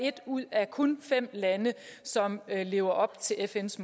et ud af kun fem lande som lever op til fns